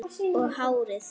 Og hárið.